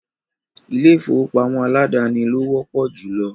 ilé-ìfowópamọ́ aládàáni lo wọ́pọ̀ júlọ.